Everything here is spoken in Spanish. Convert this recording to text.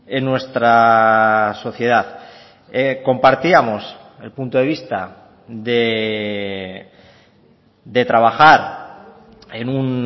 en nuestra sociedad compartíamos el punto de vista de trabajar en un